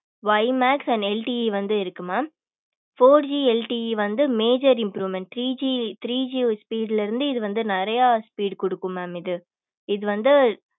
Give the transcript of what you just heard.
Y max and LTE வந்து இருக்கு mam four GLTE வந்து major improvement three G three G speed இருந்து இது வந்து நிறைய speed கொடுக்கும் mam இது இது வந்து